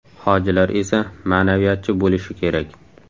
Hojilar esa ma’naviyatchi bo‘lishi kerak .